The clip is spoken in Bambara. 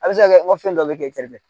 A bɛ se ka kɛ ko fɛn dɔ bɛ kɛ kɛrɛfɛ.